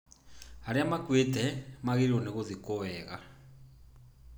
Arĩa makuĩte magĩrĩirũo gũthikwo wega.